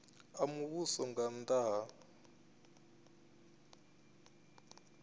a muvhuso nga nnda ha